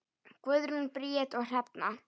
Guðrún Bríet og Hrefna.